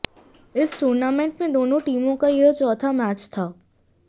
इस टूर्नामेंट में दोनों टीमों का यह चौथा मैच था